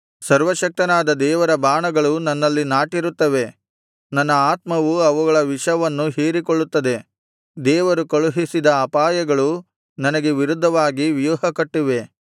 ಸರ್ವಶಕ್ತನಾದ ದೇವರ ಬಾಣಗಳು ನನ್ನಲ್ಲಿ ನಾಟಿರುತ್ತವೆ ನನ್ನ ಆತ್ಮವು ಅವುಗಳ ವಿಷವನ್ನು ಹೀರಿಕೊಳ್ಳುತ್ತದೆ ದೇವರು ಕಳುಹಿಸಿದ ಅಪಾಯಗಳು ನನಗೆ ವಿರುದ್ಧವಾಗಿ ವ್ಯೂಹಕಟ್ಟಿವೆ